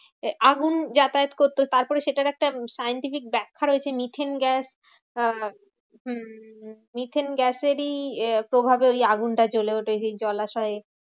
আগুন যাতায়াত করতো তারপরে সেটার একটা scientific ব্যাখ্যা রয়েছে। মিথেন গ্যাস আহ হম হম মিথেন গ্যাসেরই প্রভাবে ওই আগুনটা জ্বলে ওঠে জলাশয়ে।